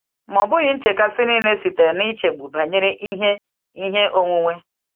Ma ọ bụghị nchekasị niile sitere n’ichegbu banyere ihe ihe onwunwe.